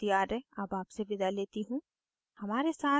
I I T Bombay से मैं श्रुति आर्य अब आपसे विदा लेती हूँ